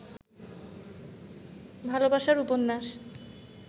ভালবাসার উপন্যাস